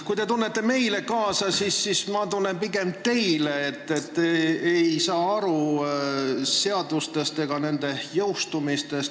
Kui teie tunnete meile kaasa, siis mina tunnen kaasa pigem teile, et te ei saa seadustest ega nende jõustumisest aru.